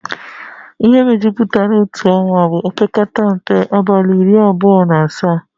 Ihe mejupụtara otu ọnwa bụ opekata mpe abalị iri abụọ na asatọ